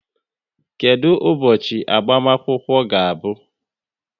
Kedụ ụbọchị agbamakwụkwọ ga-abụ?